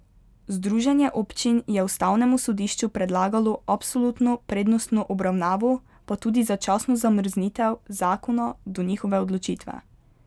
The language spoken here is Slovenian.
Združenje občin je ustavnemu sodišču predlagalo absolutno prednostno obravnavo, pa tudi začasno zamrznitev zakona do njihove odločitve.